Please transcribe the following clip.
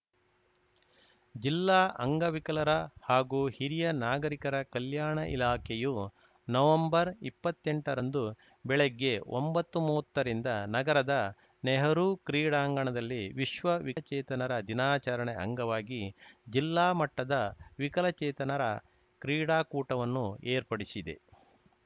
ಜಿಲ್ಲಾ ಅಂಗವಿಕಲರ ಹಾಗೂ ಹಿರಿಯ ನಾಗರಿಕರ ಕಲ್ಯಾಣ ಇಲಾಖೆಯು ನವೆಂಬರ್ಇಪ್ಪತ್ತೆಂಟರಂದು ಬೆಳಗ್ಗೆ ಒಂಬತ್ತುಮುವತ್ತರಿಂದ ನಗರದ ನೆಹರೂ ಕ್ರೀಡಾಂಗಣದಲ್ಲಿ ವಿಶ್ವ ವಿಕಲಚೇತನರ ದಿನಾಚರಣೆ ಅಂಗವಾಗಿ ಜಿಲ್ಲಾ ಮಟ್ಟದ ವಿಕಲಚೇತನರ ಕ್ರೀಡಾಕೂಟವನ್ನು ಏರ್ಪಡಿಸಿದೆ